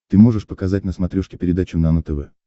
ты можешь показать на смотрешке передачу нано тв